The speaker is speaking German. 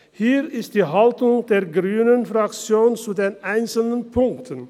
Hier ist die Haltung der grünen Fraktion zu den einzelnen Punkten.